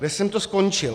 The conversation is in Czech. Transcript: Kde jsem to skončil?